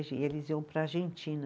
E eles iam para a Argentina.